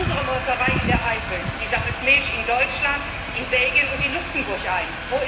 Unsere Molkerei in der Eifel sammelt Milch in Deutschland, in Belgien und in Luxemburg ein.